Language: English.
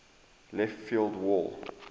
left field wall